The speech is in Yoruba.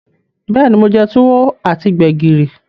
Beeni, mo je Tuwo ati Gbẹ̀gìrì.